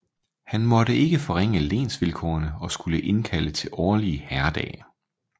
Han måtte ikke forringe lensvilkårene og skulle indkalde til årlige herredage